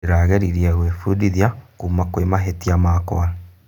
Ndĩrageririe gwĩbundithia kuuma kurĩ mahĩtia makwa.